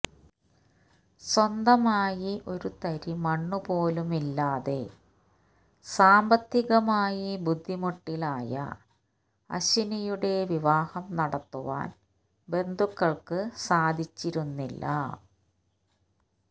സ്വന്തമായി ഒരു തരി മണ്ണ് പോലും ഇല്ലാതെ സാമ്പത്തികമായി ബുദ്ധിമുട്ടിലായ അശ്വനിയുടെ വിവാഹം നടത്തുവാന് ബന്ധുക്കള്ക്ക് സാധിച്ചിരുന്നില്ല